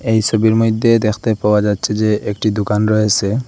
এই সবির মইদ্যে দেখতে পাওয়া যাচ্ছে যে একটি দুকান রয়েসে।